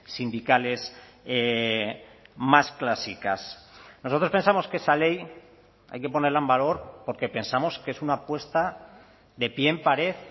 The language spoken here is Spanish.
sindicales más clásicas nosotros pensamos que esa ley hay que ponerla en valor porque pensamos que es una apuesta de pie en pared